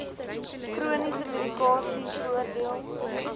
chroniese medikasie voordeel